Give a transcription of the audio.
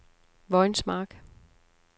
Vojens Mark